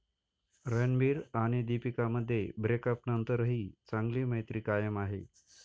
रणबीर आणि दीपिकामध्ये ब्रेक अपनंतरही चांगली मैत्री कायम आहे.